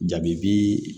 Jabi bi